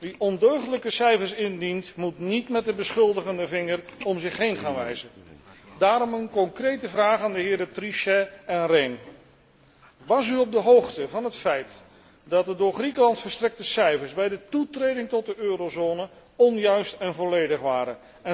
Wie ondeugdelijke cijfers indient, moet niet met de beschuldigende vinger om zich heen gaan wijzen. Daarom een concrete vraag aan de heren Trichet en Rehn was u op de hoogte van het feit dat de door de Griekenland verstrekte cijfers bij de toetreding tot de eurozone onjuist en volledig waren.